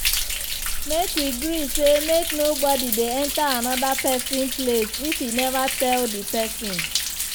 make we gree say make nobodi dey enta anoda pesin place if e neva tell di pesin first.